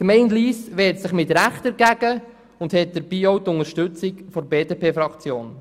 Die Gemeinde Lyss wehrt sich mit Recht dagegen und erhält dabei auch die Unterstützung der BDP-Fraktion.